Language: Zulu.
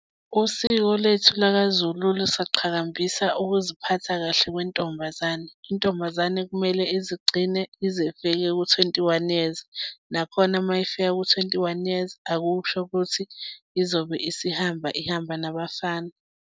Usiko lethu lakaZulu lisaqhakambisa ukuziphatha kahle kwentombazane. Intombazane kumele izigcine ize ifike ku-twenty-one years, nakhona uma ifika ku-twenty-one years akusho ukuthi izobe isihamba, ihamba nabafana.